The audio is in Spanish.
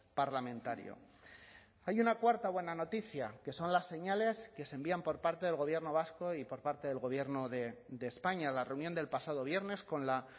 parlamentario hay una cuarta buena noticia que son las señales que se envían por parte del gobierno vasco y por parte del gobierno de españa la reunión del pasado viernes con la